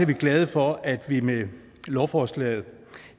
vi glade for at vi med lovforslaget